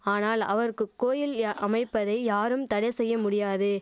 ஆனால் அவருக்கு கோயில்யா அமைப்பதை யாரும் தடை செய்ய முடியாது